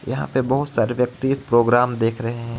यहाँ पे बोहोत सारे व्यक्ति प्रोग्राम देख रहे हे.